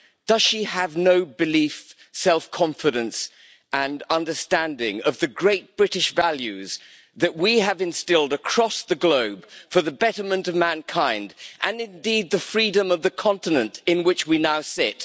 Does she have no belief, no self confidence and no understanding of the great British values that we have instilled across the globe for the betterment of mankind, and indeed the freedom of the continent in which we now sit?